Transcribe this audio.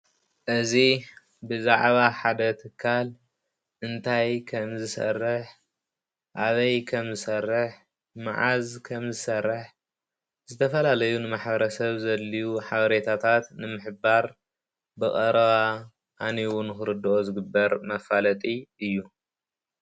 እዚ ብዛዕባ ሓደ ትካል እንታይ ከም ዝሰርሕ ፣ አበይ ከም ዝሰርሕ ፣መዓዝ ከም ዝሰርሕ ዝተፈላለዩ ንማሕበረሰብ ዘድልዩ ሓበሬታታት ንምሕባር ብቀረባ አንቢቡ ንክረዶኦ ዝግበር መፈለጢ እዩ፡፡